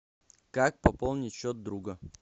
как пополнить счет друга